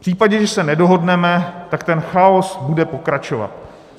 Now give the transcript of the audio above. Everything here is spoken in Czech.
V případě, že se nedohodneme, tak ten chaos bude pokračovat.